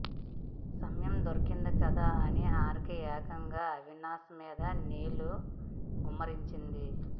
సమయం దొరికింది కదా అని హారిక ఏకంగా అవినాష్ మీద నీళ్లు గుమ్మరించింది